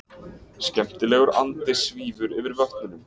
Skemmtilegur andi svífur yfir vötnunum.